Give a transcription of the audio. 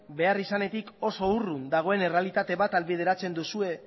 beharrizanetik oso urrun dagoen errealitate bat ahalbideratzen duzue